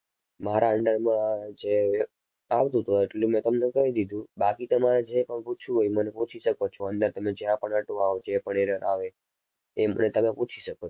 મારા under માં જે આવતું હતું એટલું મેં તમને કહી દીધું. બાકી તમારે જે પણ પૂછવું હોય એ મને પૂછી શકો છો અંદર તમે જ્યાં પણ અટવાવ જે પણ error આવે એ મને તમે પૂછી શકો.